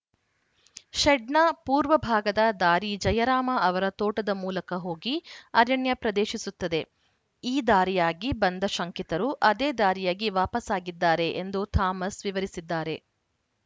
ಶೆಡ್‌ನ ಪೂರ್ವ ಭಾಗದ ದಾರಿ ಜಯರಾಮ ಅವರ ತೋಟದ ಮೂಲಕ ಹೋಗಿ ಅರಣ್ಯ ಪ್ರದೇಶಿಸುತ್ತದೆ ಈ ದಾರಿಯಾಗಿ ಬಂದ ಶಂಕಿತರು ಅದೇ ದಾರಿಯಾಗಿ ವಾಪಸಾಗಿದ್ದಾರೆ ಎಂದು ಥಾಮಸ್‌ ವಿವರಿಸಿದ್ದಾರೆ